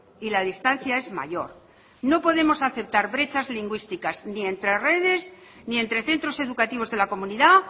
y la distancia es mayor no podemos aceptar brechas lingüísticas ni entre redes ni entre centros educativos de la comunidad